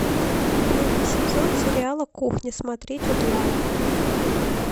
первый сезон сериала кухня смотреть онлайн